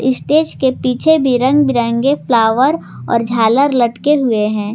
Stage के पीछे भी रंग बिरंगे फ्लावर और झालर लटके हुए हैं।